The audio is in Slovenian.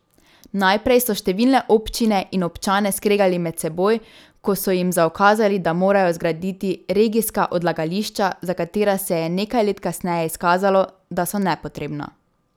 Najprej so številne občine in občane skregali med seboj, ko so jim zaukazali, da morajo zgraditi regijska odlagališča, za katera se je nekaj let kasneje izkazalo, da so nepotrebna.